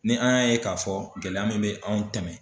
Ni an y'a ye k'a fɔ gɛlɛya min bɛ anw tɛmɛn